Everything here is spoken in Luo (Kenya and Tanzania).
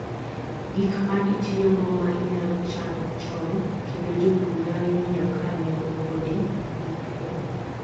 Gik ma itiyogo maa inyalo chan chon kendo jopur nyalo nyiewo kaa neng'o podi ni piny